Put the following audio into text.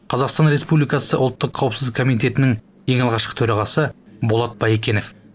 қазақстан республикасы ұлттық қауіпсіздік коммитетінің ең алғашқы төрағасы болат баекенов